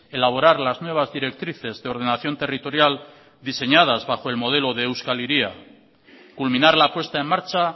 elaborar las nuevas directrices de ordenación territorial diseñadas bajo el modelo de euskal hiria culminar la puesta en marcha